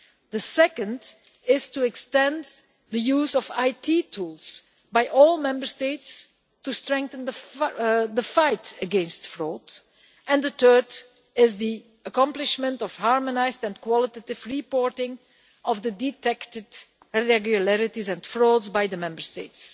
The second is to extend the use of IT tools by all Member States to strengthen the fight against fraud, and the third is the accomplishment of harmonised and qualitative reporting of the detected irregularities and frauds by the Member States.